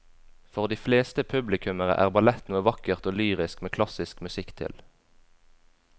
For de fleste publikummere er ballett noe vakkert og lyrisk med klassisk musikk til.